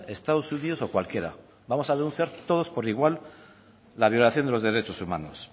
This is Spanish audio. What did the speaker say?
estados unidos o cualquiera vamos a denunciar todos por igual la violación de los derechos humanos